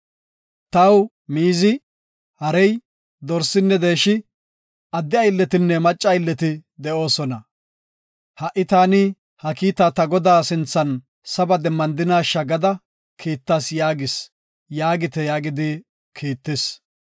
Taw miizi, harey, dorsinne deeshi, adde aylletinne macca aylleti de7oosona. Ha7i taani ha kiita ta godaa sinthan saba demmandinasha gada kiittas yaagis’ yaagite” yaagidi kiittis.